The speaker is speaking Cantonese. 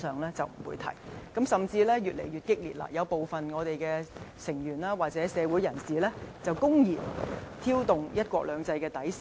現時，甚至出現了越來越激烈的情況，部分議員或社會人士公然挑動"一國兩制"底線。